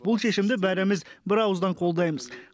бұл шешімді бәріміз бірауыздан қолдаймыз